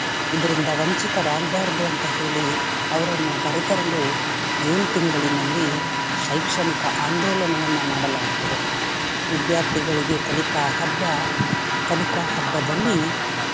ಇದ್ರಿಂದ ವಂಚಿತರಾಗ್ಬಾರ್ದು ಅಂತ ಹೇಳಿ ಅವರನ್ನು ಕರೆ ತರಲು June ತಿಂಗಳಿನಲ್ಲಿ ಶೈಕ್ಷಣಿಕ ಆಂದೋಲವನ್ನ ಮಾಡಲಾಗ್ತದೆ. ವಿದ್ಯಾರ್ಥಿಗಳಿಗೆ ಕಲಿಕಾ ಹಬ್ಬಾ ಕಲಿಕಾ ಹಬ್ಬದಲ್ಲಿ.